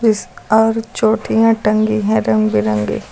और चोटियां टंगी हैं रंग बिरंगी।